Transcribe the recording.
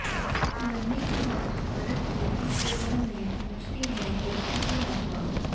मरने के बाद भारत की इस जगह में पहुंचती है व्यक्ति की आत्मा